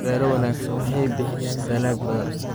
Beero wanaagsan waxay bixiyaan dalag badan.